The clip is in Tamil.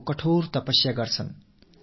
இது ஒரு வகையில் மிகக் கடினமான ஒரு தவம்